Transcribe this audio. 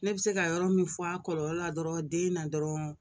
Ne bɛ se ka yɔrɔ min fɔ a kɔlɔlɔ la dɔrɔn den na dɔrɔn